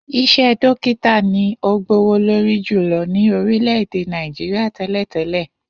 Is̩é̩ dókítà ni ó gbówó lórí jùlo̩ ní orílè̩-èdè Nàìjíríà té̩lè̩té̩lè̩